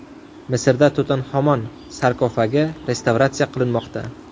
Misrda Tutanhamon sarkofagi restavratsiya qilinmoqda .